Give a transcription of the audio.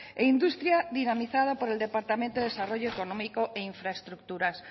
e industria dinamizada por el departamento desarrollo económico e infraestructuras